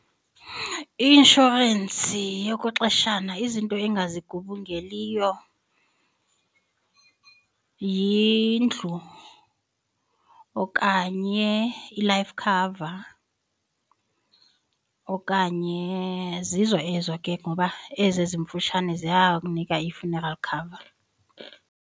I-inshorensi yokwexeshana izinto engazigubungeliyo yindlu okanye i-life cover okanye zizo ezo ke ngoba ezi ezimfutshane ziyakunika i-funeral cover.